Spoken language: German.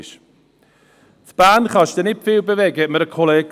Ein Kollege sagte mir, in Bern würde ich nicht viel bewegen können.